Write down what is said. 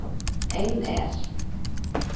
Ein er